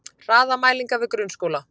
Hraðamælingar við grunnskóla